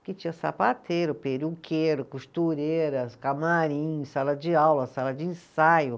Porque tinha sapateiro, peruqueiro, costureiras, camarim, sala de aula, sala de ensaio.